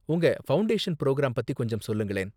உங்க foundation program பத்தி கொஞ்சம் சொல்லுங்களேன்.